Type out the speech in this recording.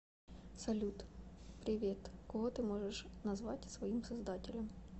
салют привет кого ты можешь назвать своим создателем